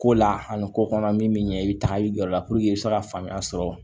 Ko la ani ko kɔnɔ min bɛ ɲɛ i bɛ taa i jɔ o la i bɛ se ka faamuya sɔrɔ